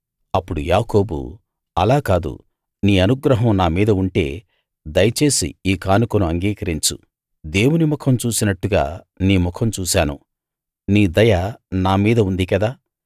అప్పుడు యాకోబు అలా కాదు నీ అనుగ్రహం నా మీద ఉంటే దయచేసి ఈ కానుకను అంగీకరించు దేవుని ముఖం చూసినట్టుగా నీ ముఖం చూశాను నీ దయ నా మీద ఉంది కదా